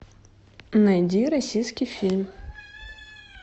найди российский фильм